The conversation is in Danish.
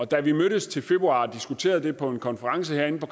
da vi mødtes i februar og diskuterede det på en konference herinde på